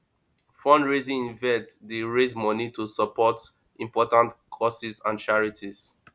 fundraising events dey raise moni to support important causes and charities